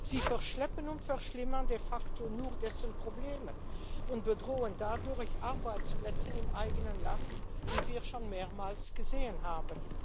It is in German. Sie verschleppen und verschlimmern de facto nur die Probleme und bedrohen dadurch Arbeitsplätze im eigenen Land, wie wir schon mehrmals gesehen haben.